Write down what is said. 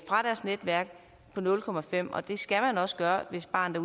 fra dets netværk på nul komma fem og det skal man også gøre hvis barnet